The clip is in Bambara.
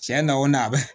Tiɲɛ na o na a bɛ